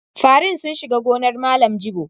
Farin sun shiga gonar Malam Jibo.